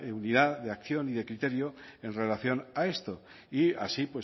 unidad de acción y de criterio en relación a esto y así